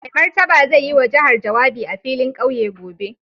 Mai Martaba zai yi wa jihar jawabi a filin kauye gobe.